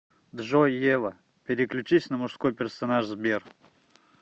джой ева переключись на мужской персонаж сбер